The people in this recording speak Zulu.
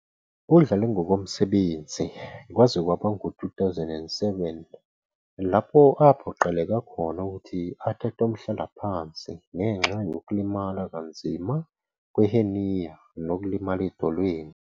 Udlale ngokomsebenzi kwaze kwaba ngu-2007, lapho aphoqeleka khona ukuthi athathe umhlalaphansi ngenxa yokulimala kanzima kwe- hernia nokulimala edolweni.